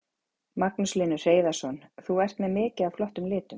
Magnús Hlynur Hreiðarsson: Þú ert með mikið af flottum litum?